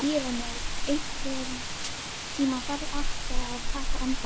Irene, einhvern tímann þarf allt að taka enda.